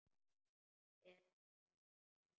Er hún sæt?